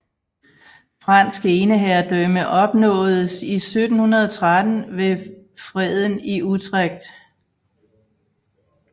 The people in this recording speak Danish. Fransk eneherredømme opnåedes i 1713 ved Freden i Utrect